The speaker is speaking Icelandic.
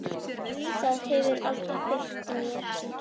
Það hefur alltaf fylgt mér.